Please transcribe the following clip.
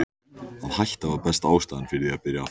Að hætta var besta ástæðan fyrir því að byrja aftur.